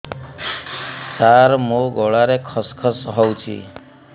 ସାର ମୋ ଗଳାରେ ଖସ ଖସ ହଉଚି